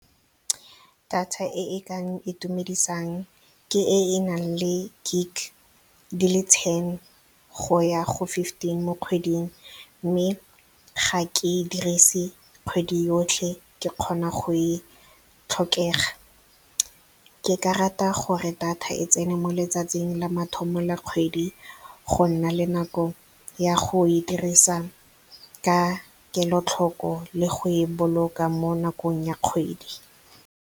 Data e e kang itumedisang ke e e nang le gig di le ten go ya go fifteen mo kgweding. Mme ga ke e dirise kgwedi yotlhe, ke kgona go e tlhokega. Ke ka rata gore data e tsene mo letsatsing la mathomo la kgwedi, go nna le nako ya go e dirisa ka kelotlhoko le go e boloka mo nakong ya kgwedi.